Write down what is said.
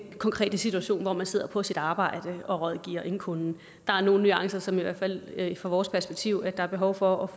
konkrete situation hvor man sidder på sit arbejde og rådgiver en kunde der er nogle nuancer som der i hvert fald fra vores perspektiv er behov for